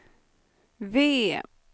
V